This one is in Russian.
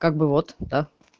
как бы вот да